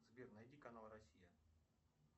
сбер найди канал россия